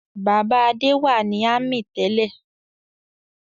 Bàbá Adé wà ní ámì tẹ́lẹ̀.